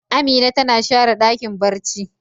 Amina tana share Dakin barci.